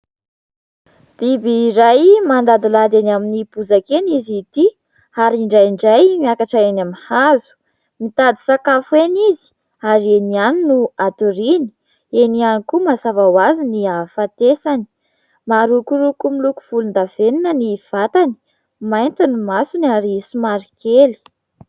Biby iray mandadilady eny amin'ny bozaka eny izy ity ary indraindray miakatra eny amin'ny hazo. Mitady sakafo eny izy ary eny ihany no hatoriany, eny ihany koa mazava ho azy ny hahafatesany. Marokoroko miloko volondavenona ny vatany, mainty ny masony ary somary kely.